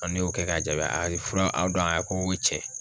Ɔn ne y'o kɛ k'a ja ,a ye fura a ko ko cɛ